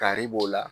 Kari b'o la